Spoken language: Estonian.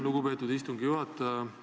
Lugupeetud istungi juhataja!